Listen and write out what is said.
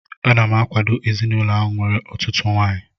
Ana m akwado ezinaụlọ ahụ nwere ọtụtụ nwaanyị